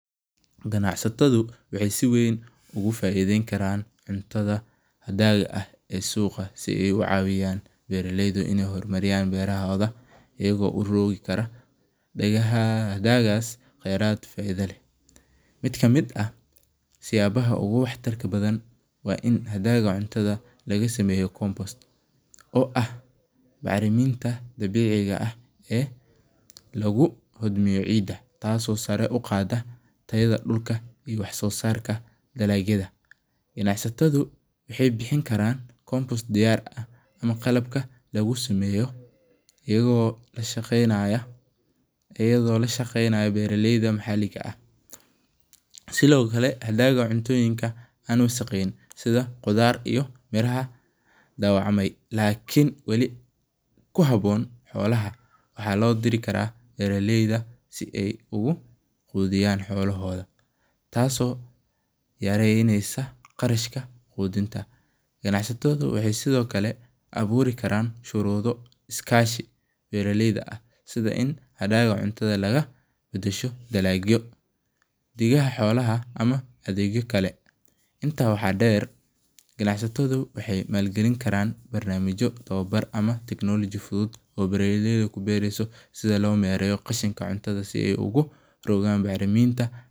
Ganacsatadhu waxee si weyn ogu faideyni karan cuntadha hadaga ah ee suqa si ee u cawiyan bera leydu in ee hormariyan berahoga iyago urogi karo hadagas aad faidha leh, waxaa kamiid ah siyabaha wax tarka leh waa in hadaga laga sameyo cunta compost oo ah baxrimin dabeci ah ee lagu jodmeya cida taso sara u qada riyadha dulka iyo wax sosarka dalagyadha, ganacsatadhu waxee bixin karan compost diyar ah qalabka lagu sameyo iyago lashaqeynaya beera leyda maxaliga ah sithokale hadaga cuntoyinka an wasaqeyn sitha qudhaar dawac may lakin wali ku habon xolaha waxaa lo diri karaa bera leyda si ee ogu qudhiyaan xolahodha tas oo yareynesa qarashka qudhinta, qanacsatadhu waxee sithokale aburi karan shurudho kashi beera leyda ah sitha in dalaga cuntadha ee dasho dalagyo, dalaga xolaha iyo kale intas waxaa deer ganacsatadhu waxee sameyni karan technologi fuduud ee si logu beero qashiminta beeraha.